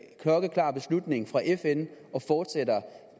klokkeklar beslutning fra fn og fortsætter